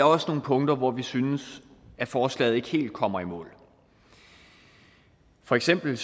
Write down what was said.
også nogle punkter hvor vi synes at forslaget ikke helt kommer i mål for eksempel